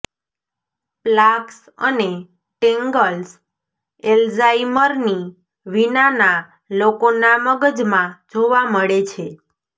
plaques અને tangles એલ્ઝાઇમરની વિનાના લોકોના મગજમાં જોવા મળે છે